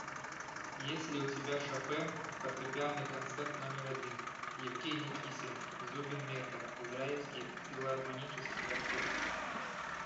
есть ли у тебя шопен фортепианный концерт номер один евгений кисин зубин мета израильский филармонический оркестр